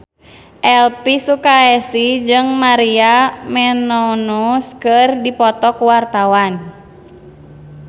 Elvi Sukaesih jeung Maria Menounos keur dipoto ku wartawan